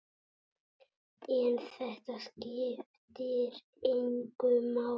En þetta skiptir engu máli.